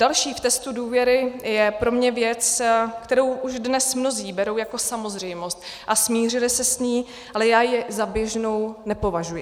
Další v testu důvěry je pro mě věc, kterou už dnes mnozí berou jako samozřejmost, a smířili se s ní, ale já ji za běžnou nepovažuji.